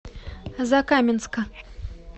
закаменска